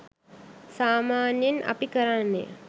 සාමාන්‍යයෙන් අපි කරන්නේ